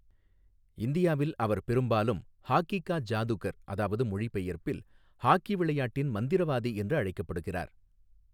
இந்தியாவில், அவர் பெரும்பாலும் 'ஹாக்கி கா ஜாதுகர்' அதாவது மொழிபெயர்ப்பில் 'ஹாக்கி விளையாட்டின் மந்திரவாதி' என்று அழைக்கப்படுகிறார்.